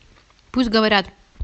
пусть говорят